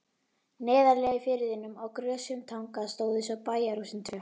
Neðarlega í firðinum, á grösugum tanga, stóðu svo bæjarhúsin tvö.